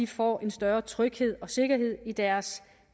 får en større tryghed og sikkerhed i deres